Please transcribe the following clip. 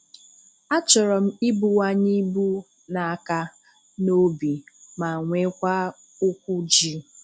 A chọrọ m ibuwanye ibu n'aka n'obi ma nwekwa ụkwụ ji.